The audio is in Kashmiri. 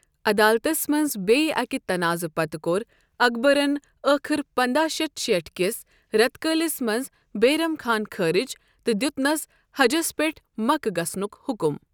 عدالتس منٛز بییہٕ أکہِ تنازعہ پتہٕ کوٚر اکبرن ٲخر پنداہ شتھ شیٹھ کِس رٮ۪تہٕ کٲلِس منٛز بیرم خان خٲرج تہٕ دیتنس حجس پٮ۪ٹھ مکہ گژھنک حکم۔